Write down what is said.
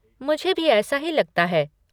मुझे भी ऐसा ही लगता है।